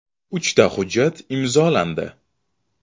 “Uchta hujjat imzolandi.